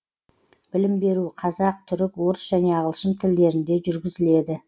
білім беру қазақ түрік орыс және ағылшын тілдерінде жүргізіледі